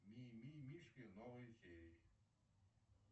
мимимишки новые серии